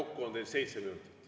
Kokku on teil seitse minutit.